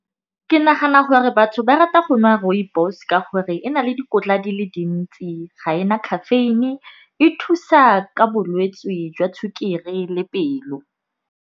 Ke nagana gore batho ba rata go nwa rooibos ka gore e na le dikotla di le dintsi. Ga ena caffeine e thusa ka bolwetse jwa sukiri le pelo.